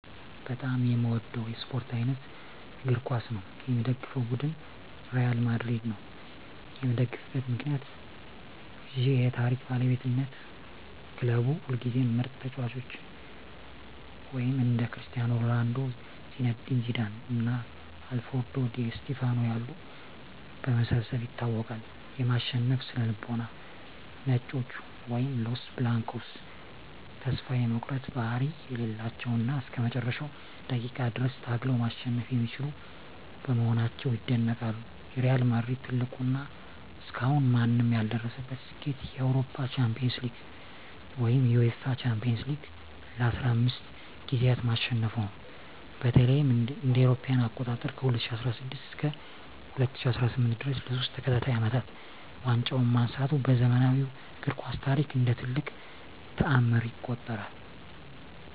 በጣም የምወደው የስፓርት አይነት እግር ኳስ ነው። የምደግፈው ቡድን ሪያል ማድሪድ ነው። የምደግፍበት ምክንያት ዠ የታሪክ ባለቤትነት ክለቡ ሁልጊዜም ምርጥ ተጫዋቾችን (እንደ ክርስቲያኖ ሮናልዶ፣ ዚነዲን ዚዳን እና አልፍሬዶ ዲ ስቲፋኖ ያሉ) በማሰባሰብ ይታወቃል። የማሸነፍ ስነ-ልቦና "ነጮቹ" (Los Blancos) ተስፋ የመቁረጥ ባህሪ የሌላቸው እና እስከ መጨረሻው ደቂቃ ድረስ ታግለው ማሸነፍ የሚችሉ በመሆናቸው ይደነቃሉ። የሪያል ማድሪድ ትልቁ እና እስካሁን ማንም ያልደረሰበት ስኬት የአውሮፓ ሻምፒዮንስ ሊግን (UEFA Champions League) ለ15 ጊዜያት ማሸነፉ ነው። በተለይም እ.ኤ.አ. ከ2016 እስከ 2018 ድረስ ለሶስት ተከታታይ አመታት ዋንጫውን ማንሳቱ በዘመናዊው እግር ኳስ ታሪክ እንደ ትልቅ ተአምር ይቆጠራል።